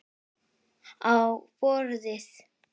Á borðið.